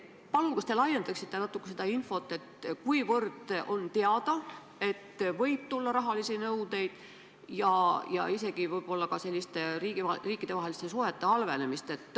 Palun, kas te laiendaksite natuke seda infot, et võib tulla rahalisi nõudeid ja isegi võib-olla riikidevaheliste suhete halvenemist?